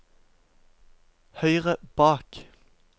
høyre bak